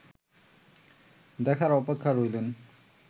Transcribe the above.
দেখার অপেক্ষায় রইলেন